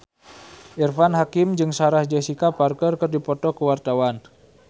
Irfan Hakim jeung Sarah Jessica Parker keur dipoto ku wartawan